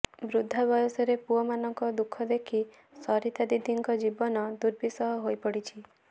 ବୃଦ୍ଧା ବୟସରେ ପୁଅମାନଙ୍କ ଦୁଃଖ ଦେଖି ସରିତା ଦିଦିଙ୍କ ଜୀବନ ଦୁର୍ବିସହ ହୋଇପଡ଼ିଛି